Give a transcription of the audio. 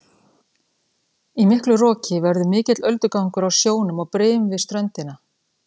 Í miklu roki verður mikill öldugangur á sjónum og brim við ströndina.